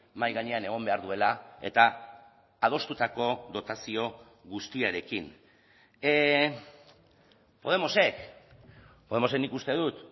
mahai gainean egon behar duela eta adostutako dotazio guztiarekin podemosek podemosek nik uste dut